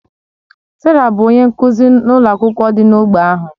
Sarah bụ onye nkụzi n'ụlọ akwụkwọ dị n'ógbè ahụ.